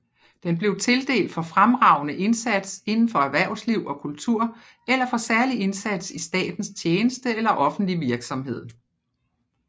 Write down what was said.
Den blev tildelt for fremragende indsats indenfor erhvervsliv og kultur eller for særlig indsats i statens tjeneste eller offentlig virksomhed